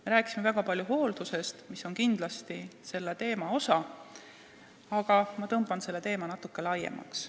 Me rääkisime siin väga palju hooldusest, mis on kindlasti selle teema osa, aga ma tõmban selle teema natukene laiemaks.